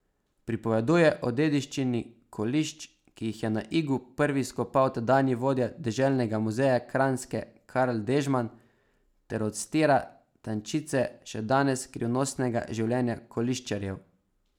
Pripoveduje o dediščini kolišč, ki jih je na Igu prvi izkopal tedanji vodja Deželnega muzeja Kranjske Karl Dežman, ter odstira tančice še danes skrivnostnega življenja koliščarjev.